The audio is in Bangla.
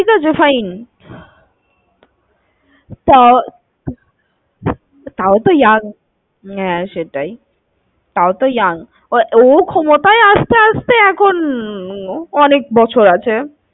ঠিক আছে fine, তা~তাও তো young, হা সেটাই, তাও তো young, ও ক্ষমতায় আসতে আসতে এখন অনেক বছর আছে।